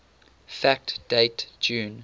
fact date june